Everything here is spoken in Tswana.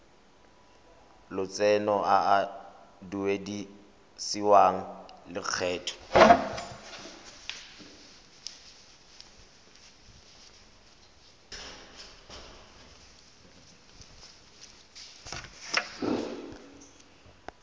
lotseno a a duedisiwang lokgetho